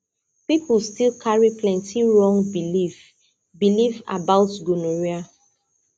people still carry plenty wrong belief belief about gonorrhea